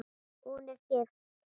Hún er gift.